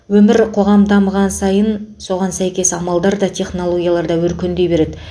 өмір қоғам дамыған сайын соған сәйкес амалдар да технологиялар да өркендей береді